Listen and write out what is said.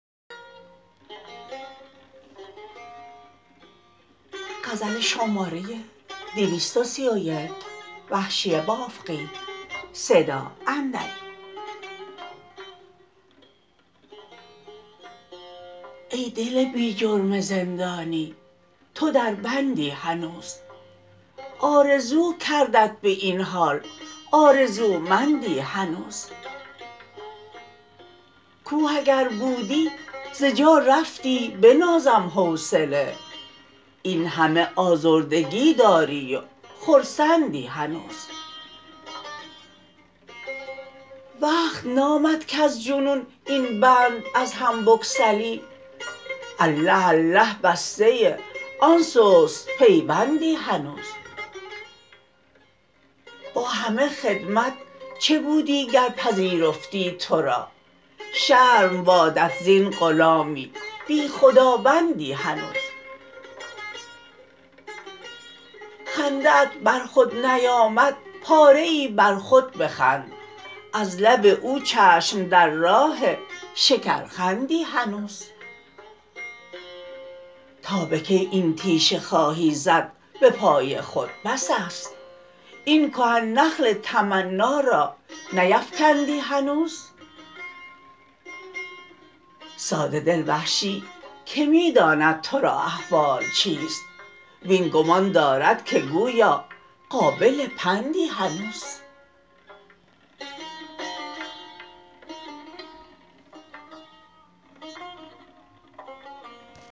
ای دل بی جرم زندانی تو در بندی هنوز آرزو کردت به این حال آرزومندی هنوز کوه اگر بودی ز جا رفتی بنازم حوصله اینهمه آزردگی داری و خرسندی هنوز وقت نامد کز جنون این بند از هم بگسلی اله اله بسته آن سست پیوندی هنوز با همه خدمت چه بودی گر پذیرفتی ترا شرم بادت زین غلامی بی خداوندی هنوز خنده ات بر خود نیامد پاره ای بر خود بخند از لب او چشم در راه شکرخندی هنوز تا به کی این تیشه خواهی زد به پای خود بس است این کهن نخل تمنا را نیفکندی هنوز ساده دل وحشی که می داند ترا احوال چیست وین گمان دارد که گویا قابل پندی هنوز